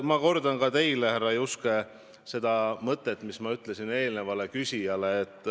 Ma kordan ka teile, härra Juske, seda mõtet, mida ma ütlesin eelnevale küsijale.